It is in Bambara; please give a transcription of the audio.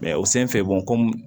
o sen fɛ ko